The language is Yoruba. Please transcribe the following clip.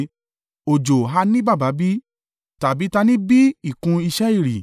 Òjò ha ní baba bí? Tàbí ta ni o bí ìkún ìṣe ìrì?